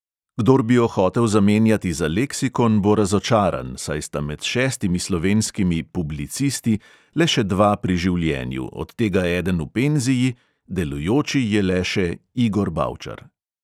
Kdor bi jo hotel zamenjati za leksikon, bo razočaran, saj sta med šestimi slovenskimi "publicisti" le še dva pri življenju, od tega eden v penziji, delujoči je le še – igor bavčar.